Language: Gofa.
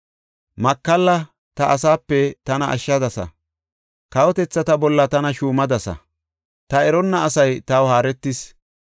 Makalla ta asaape tana ashshadasa; kawotethata bolla tana shuumadasa; ta eronna asay taw haaretis.